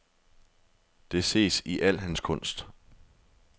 Det ses i al hans kunst.